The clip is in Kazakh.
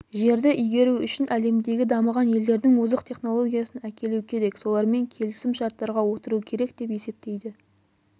жерді игеру үшін әлемдегі дамыған елдердің озық технологиясын әкелу керек солармен келісім-шарттарға отыру керек деп есептейді